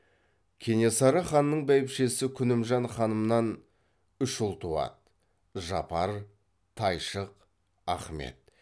кенесары ханның бәйбішесі күнімжан ханымнан үш ұл туады жапар тайшық ахмет